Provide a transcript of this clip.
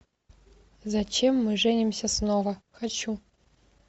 зачем мы женимся снова хочу